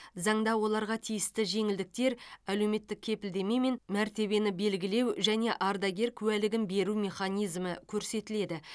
заңда оларға тиісті жеңілдіктер әлеуметтік кепілдеме мен мәртебені белгілеу және ардагер куәлігін беру механизмі көрсетіледі